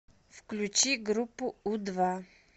включи группу у два